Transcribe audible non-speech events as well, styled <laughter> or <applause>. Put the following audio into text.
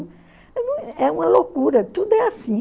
<unintelligible> É uma loucura, tudo é assim.